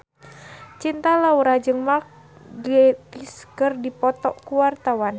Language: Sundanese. Cinta Laura jeung Mark Gatiss keur dipoto ku wartawan